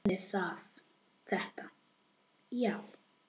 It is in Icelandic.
Ég gerði þetta, já.